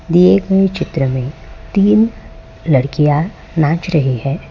दिए गए चित्र में तीन लड़कियां नाच रही है।